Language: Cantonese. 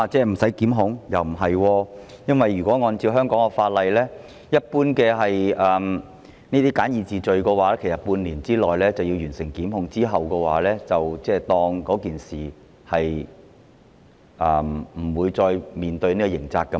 不是，因為按照香港法例，這類簡易程序罪行一般要在半年內完成檢控，期限屆滿後，涉案人士便無須面對刑責。